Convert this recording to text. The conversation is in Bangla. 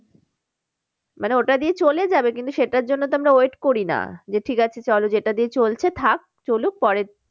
মানে ওটা দিয়ে চলে যাবে কিন্তু সেটার জন্য তো আমরা wait করি না। যে ঠিক আছে চলো যেটা দিয়ে চলছে থাক চলুক পরে